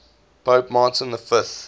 pope martin v